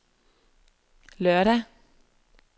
lørdag